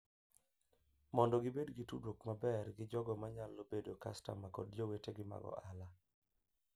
Mondo gibed gi tudruok maber gi jogo manyalo bedo kastama kod jowetegi mag ohala.